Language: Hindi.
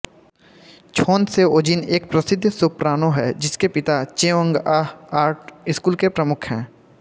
छोन सेओजिन एक प्रसिद्ध सोप्रानो है जिसके पिता चेओंगआह आर्ट्स स्कूल के प्रमुख हैं